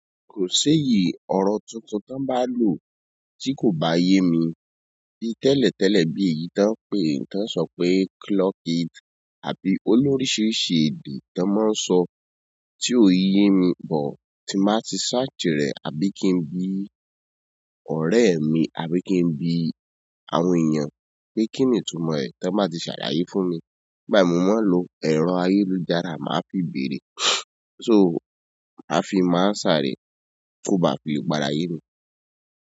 Kò ṣéyi ọ̀rọ̀ tuntun tí wọn bá lò tí kò bá yé mi. Bi tẹ́lẹ̀ tẹ́lẹ̀ bí ìyí tí wọ́n ń pè, tí wọ́n ń sọ pé "clock it" àbí olóríṣiríṣi èdè tí wọ́n máa ń sọ tí ò yé mi bọ̀ tí màá ti searchi rẹ̀ àbí kí n bí ọ̀rẹ́ mi, àbí kí n bí àwọn èèyàn pé kí ni ìtumọ̀ ẹ̀ tí wọ́n bá ti ṣàlàyé fún mi. Ìgbà mo máa ń lo ẹ̀rọ ayélujára, màá fi béèrè. So màá fi mo answer re ko ba fi le padà yẹ mi.